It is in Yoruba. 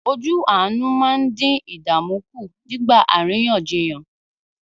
Ojú àánú máa ń dín ìdààmú kù nígbà àríyànjiyàn.